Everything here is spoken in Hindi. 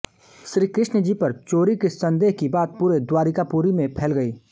श्री कृष्ण जी पर चोरी के सन्देह की बात पूरे द्वारिकापुरी में फैल गई